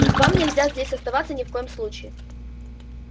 вам нельзя здесь оставаться ни в коем случае